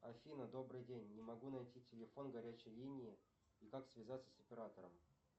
афина добрый день не могу найти телефон горячей линии и как связаться с оператором